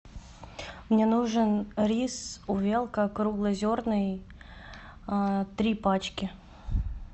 мне нужен рис увелка круглозерный три пачки